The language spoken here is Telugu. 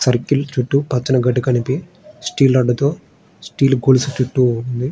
సర్కిల్ చుట్టు పచ్చని గడ్డి కలిపి స్టీల్ రాడ్ తో స్టీల్ గొలుసు చుట్టు ఉంది.